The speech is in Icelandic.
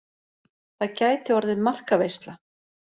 Það gæti orðið markaveisla.